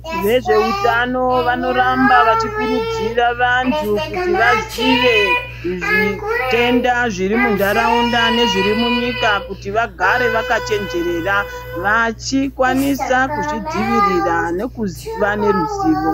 Vezveutano vanoramba veikurudzira vandu kuti vazive zvitenda zviri munharaunda nezviri munyika kuti vagare vakachenjerera vachikwanisa kuzvidzivirira nekuziva ngeruzivo.